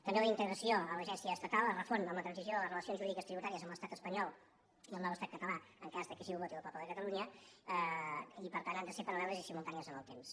també la integració amb l’agència estatal es refon amb la transició de les relacions jurídiques tributàries amb l’estat espanyol i el nou estat català en cas que així ho voti el poble de catalunya i per tant han de ser paral·leles i simultànies en el temps